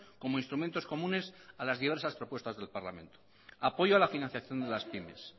como instrumentos comunes a las diversas propuestas del parlamento apoyo a la financiación de las pymes